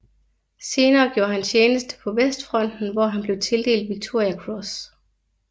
Senere gjorde han tjeneste på Vestfronten hvor han blev tildelt Victoria Cross